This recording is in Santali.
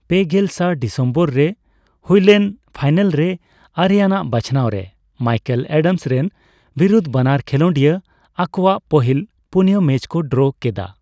ᱯᱮᱜᱮᱞ ᱥᱟ ᱰᱤᱥᱮᱢᱵᱚᱨ ᱨᱮ ᱦᱩᱭᱞᱮᱱ ᱯᱷᱟᱭᱱᱟᱞ ᱨᱮ ᱟᱨᱮ ᱟᱱᱟᱜ ᱵᱟᱪᱷᱱᱟᱣ ᱨᱮ ᱢᱟᱭᱠᱮᱞ ᱮᱰᱟᱢᱥ ᱨᱮᱱ ᱵᱤᱨᱩᱫ ᱵᱟᱱᱟᱨ ᱠᱷᱮᱞᱚᱰᱤᱭᱟᱹ ᱟᱠᱚᱣᱟᱜ ᱯᱟᱹᱦᱤᱞ ᱯᱩᱱᱭᱟᱹ ᱢᱮᱪ ᱠᱚ ᱰᱨᱚ ᱠᱮᱫᱟ ᱾